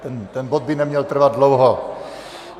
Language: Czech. Ten bod by neměl trvat dlouho.